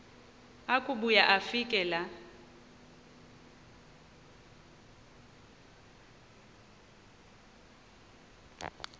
akubuya afike laa